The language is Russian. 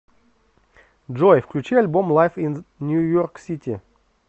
джой включи альбом лайв ин нью йорк сити